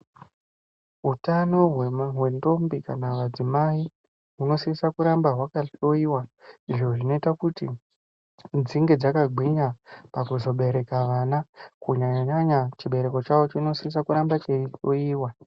Utano hwendombi kana madzimai hunosisa kuramba hwakahloyiwa. Izvo zvinoita kuti dzinge dzakagwinya pakuzobereka vana. Kunyanya-nyanya chibereko chavo chinosisa kuramba cheihloyiwa.